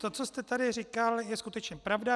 To, co jste tady říkal, je skutečně pravda.